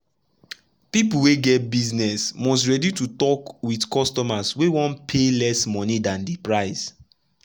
people wey get business must ready to talk with customers wey wan pay less monie dan di price.